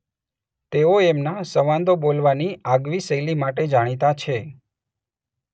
તેઓ એમના સંવાદો બોલવાની આગવી શૈલી માટે જાણીતા છે.